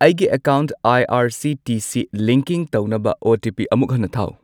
ꯑꯩꯒꯤ account I R C T C linking ꯇꯧꯅꯕ OTP. ꯑꯃꯨꯛ ꯍꯟꯅ ꯊꯥꯎ꯫